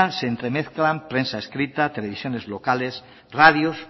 se entremezclan prensa escrita televisiones locales radios